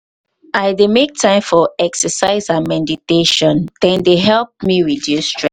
i dey make time for exercise and mediatation dem dey help me reduce stress.